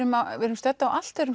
erum stödd á allt öðrum